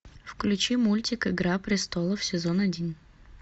включи мультик игра престолов сезон один